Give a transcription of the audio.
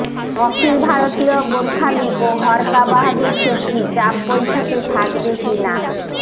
অখিল ভারতীয় গোর্খালিগ ও হরকা বাহাদুর ছেত্রীর জাপ বৈঠকে থাকবে কী না